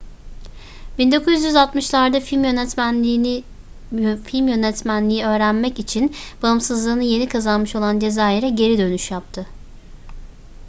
1960'larda film yönetmenliği öğretmek için bağımsızlığını yeni kazanmış olan cezayir'e geri dönüş yaptı